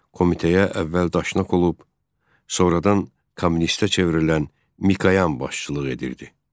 Komitəyə əvvəl daşnaq olub, sonradan kommunistə çevrilən Mikayan başçılıq edirdi.